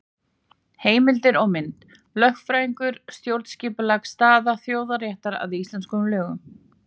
Heimildir og mynd: Lögfræðingur- Stjórnskipuleg staða þjóðaréttar að íslenskum lögum.